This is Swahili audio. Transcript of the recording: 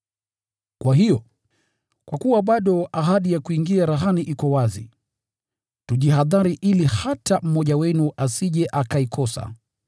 Kwa hiyo, kwa kuwa bado ahadi ya kuingia rahani iko wazi, tujihadhari ili hata mmoja wenu asije akaikosa.